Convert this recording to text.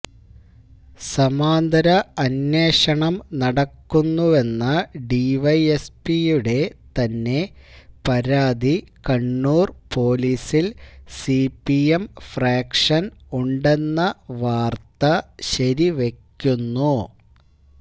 സമാന്തര അന്വേഷണം നടക്കുന്നുവെന്ന ഡിവൈഎസ്പിയുടെ തന്നെ പരാതി കണ്ണൂര് പോലീസില് സിപിഎം ഫ്രാക്ഷന് ഉണ്ടെന്ന വാര്ത്ത ശരിവയ്ക്കുന്നു